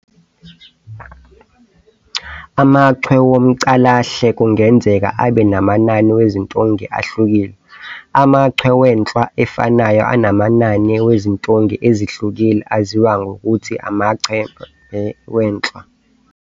AmaChwe womCalahle kungenzeka abe namanani wezintunge ahlukile, amachwe wenhlwa efanayo anamanani wezintunge ezihlukile aziwa ngokuthi amaChembe wenhlwa.